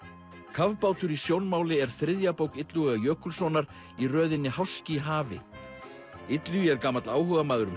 kafbátur í sjónmáli er þriðja bók Illuga Jökulssonar í röðinni háski í hafi Illugi er gamall áhugamaður um